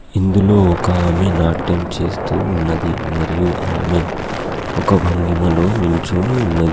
ఇందులో ఒకామె నాట్యం చేస్తూ ఉన్నది. మరియు ఆమె ఒక భంగిమలో నిల్చోని ఉన్నది.